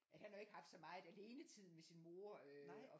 At han har jo ikke haft så meget alenetid med sin mor øh